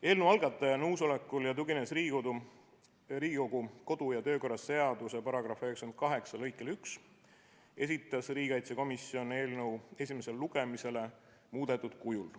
Eelnõu algataja nõusolekul ja tuginedes Riigikogu kodu‑ ja töökorra seaduse § 98 lõikele 1, esitas riigikaitsekomisjon eelnõu esimesele lugemisele muudetud kujul.